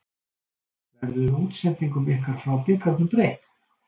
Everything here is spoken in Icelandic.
Verður útsendingum ykkar frá bikarnum breytt?